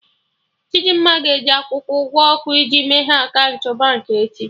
Chidimma ga-eji akwụkwọ ụgwọ ọkụ iji meghee akaụntụ Baankị echi